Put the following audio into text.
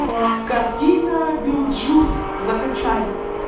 картина битлджус закачай